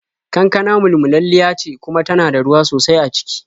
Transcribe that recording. Kankana mulmulalliya ce kuma tana da ruwa sosai a ciki.